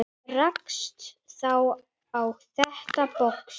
Rakst þá á þetta box.